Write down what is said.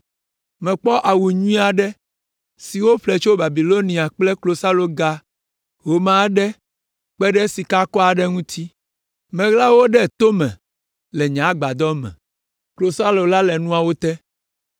Mekpɔ awu nyui aɖe si woƒle tso Babilonia kple klosaloga home aɖe kpe ɖe sikakɔ aɖe ŋuti. Meɣla wo ɖe to me le nye agbadɔ me; klosalo la le nuawo te.”